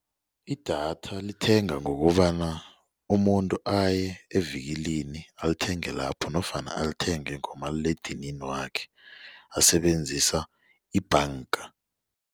Idatha lithengwa ngokobana umuntu aye evikilini alithenge lapho nofana alithenge ngomaliledinini wakhe asebenzisa ibhanga.